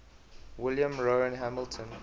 william rowan hamilton